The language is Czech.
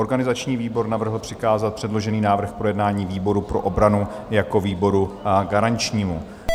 Organizační výbor navrhl přikázat předložený návrh k projednání výboru pro obranu jako výboru garančnímu.